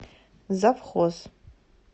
завхоз